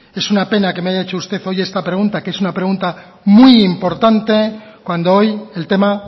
es una pena que me haya hecho usted hoy esta pregunta que es una pregunta muy importante cuando hoy el tema